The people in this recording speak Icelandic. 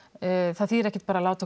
það þýðir ekkert að